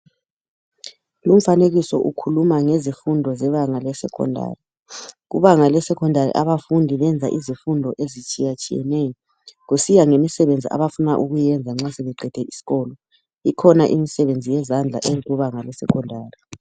Lumfanekiso ukhuluma ngezifundo zebanga lesecondary kubanga lesecondary abafundi benza izifundo ezitshiyatshiyeneyo kusiya ngemisebenzi abafuna ukuyiyenza nxa sebeqede isikolo ikhona imisebenzi yezandla eyenziwa ngabe secondary.